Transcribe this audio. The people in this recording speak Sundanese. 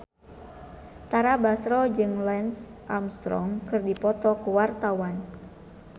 Tara Basro jeung Lance Armstrong keur dipoto ku wartawan